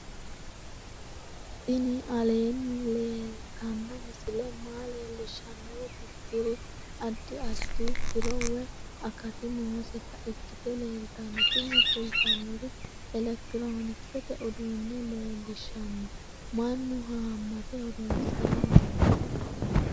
tini aleenni leetanno misile maa leellishshannoro tirriri addi addi tiro woy akati nooseta ikkite leeltanno tini kultannori elekitiroonkisete uduunne leellishshanno mannu haammate horoonsiranni no